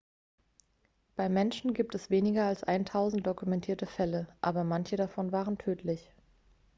beim menschen gibt es weniger als eintausend dokumentierte fälle aber manche davon waren tödlich